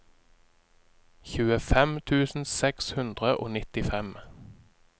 tjuefem tusen seks hundre og nittifem